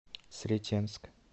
сретенск